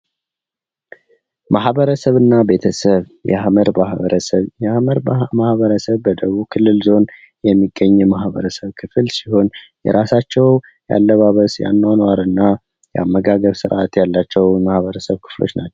ማህበረሰብና ቤተሰብ የሐመር ማህበረሰብ፤ የሐመር ማህበረሰብ በደቡብ ክልል ዞን የሚገኝ የማህበረሰብ ክፍል ሲሆን የራሳቸው ያለባበስ፣ ያኗኗርና የአመጋገብ ስርዓት ያላቸው የማህበረሰብ ክፍሎች ናቸው።